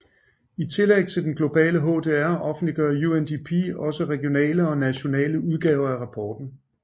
I tillæg til den globale HDR offentliggør UNDP også regionale og nationale udgaver af rapporten